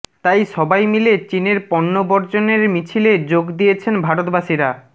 তাই সবাই মিলে চীনের পণ্য বর্জনের মিছিলে যোগ দিয়েছেন ভারতবাসীরা